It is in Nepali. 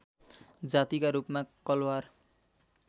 जातिका रूपमा कलवार